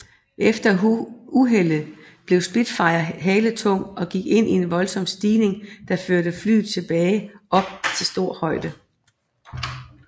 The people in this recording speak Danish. Efter uheldet blev Spitfiren haletung og gik ind i en voldsom stigning der førte flyet tilbage op til stor højde